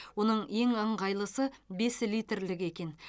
оның ең ыңғайлысы бес литрлігі екен